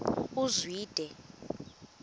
uzwide